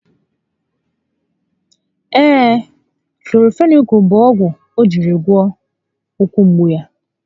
Ee, Kloranfenikụụl bụ ogwu o jírí wee gwọ ụkwụ mgbu ahụ